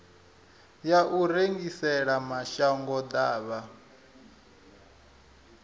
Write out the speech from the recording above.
ya u rengisela mashango ḓavha